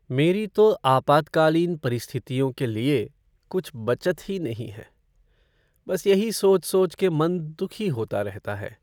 मेरी तो आपातकालीन परिस्थितियों के लिए कुछ बचत ही नहीं है। बस यही सोच सोच के मन दुःखी होता रहता है।